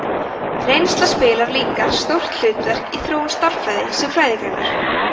reynsla spilar líka stórt hlutverk í þróun stærðfræði sem fræðigreinar